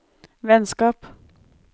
vennskap